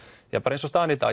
eins og staðan er í dag